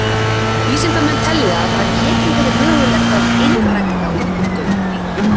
Vísindamenn telja að það geti verið mögulegt að einrækta útdauð dýr.